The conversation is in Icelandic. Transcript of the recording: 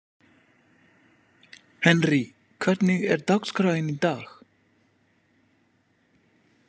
Henrý, hvernig er dagskráin í dag?